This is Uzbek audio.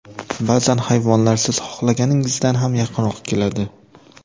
Ba’zan hayvonlar siz xohlaganingizdan ham yaqinroq keladi.